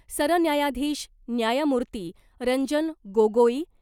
सरन्यायाधीश न्यायमूर्ती रंजन गोगोई ,